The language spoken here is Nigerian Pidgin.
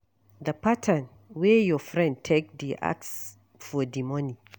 The pattern wey your friend take dey ask for di money